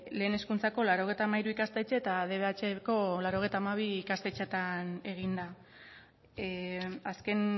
lehen hezkuntzako laurogeita hamairu ikastetxe eta dbhko laurogeita hamabi ikastetxeetan egin da azken